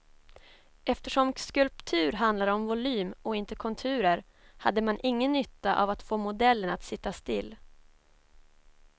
Eftersom skulptur handlar om volym och inte konturer, hade man ingen nytta av att få modellen att sitta still.